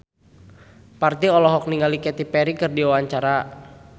Parto olohok ningali Katy Perry keur diwawancara